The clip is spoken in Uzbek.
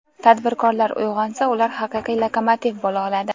"Tadbirkorlar uyg‘onsa, ular haqiqiy lokomotiv bo‘la oladi".